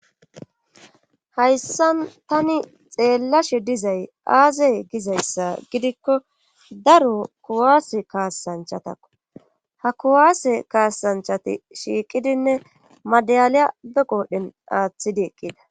hayssan tani xeellashe dizay aaze gizayssa gidikko daro kuwaase kaasanchatakko ha kuwaase kaasanchati shiiqidinne madaliya be qoodhen aaththidi eqqida